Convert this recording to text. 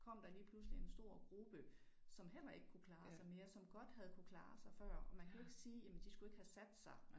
Kom der lige pludselig en stor gruppe som heller ikke kunne klare sig mere som godt havde kunnet klare sig før og man kan jo ikke sige jamen de skulle ikke have sat sig